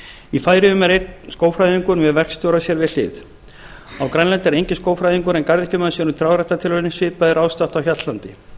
í færeyjum er einn skógfræðingur með verkstjóra sér við hlið á grænlandi er enginn skógfræðingur en garðyrkjumaður sér um trjáræktartilraunir svipað er ástatt á hjaltlandi